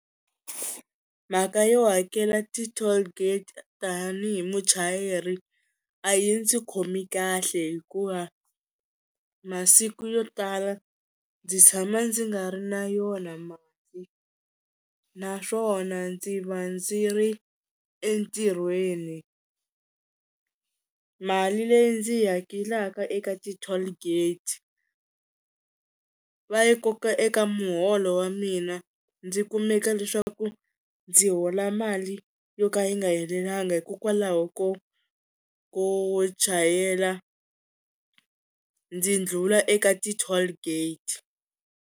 Mhaka yo hakela ti-tollgate tanihi muchayeri a yi ndzi khomi kahle hikuva masiku yo tala ndzi tshama ndzi nga ri na yona mali naswona ndzi va ndzi ri entirhweni, mali leyi ndzi yi hakelaka eka ti-tollgate va yi koka eka muholo wa mina ndzi kumeka leswaku ndzi hola mali yo ka yi nga helelanga hikokwalaho ko ko chayela ndzi ndlula eka ti-tollgate.